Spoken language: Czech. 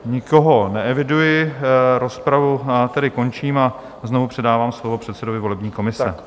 Nikoho neeviduji, rozpravu tedy končím a znovu předávám slovo předsedovi volební komise.